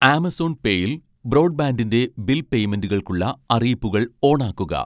Amazon പേയിൽ ബ്രോഡ്ബാൻഡിൻ്റെ bill പേയ്മെൻ്റുകൾക്കുള്ള അറിയിപ്പുകൾ ഓണാക്കുക